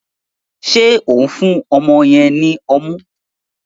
Ṣe o n fún ọmọ yen ní ọmu?